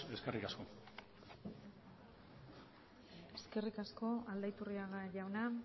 eskerrik asko eskerrik asko aldaiturriaga jauna